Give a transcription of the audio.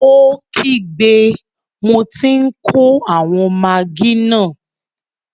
Ó kígbe, mo tí n kó àwọn magí náà!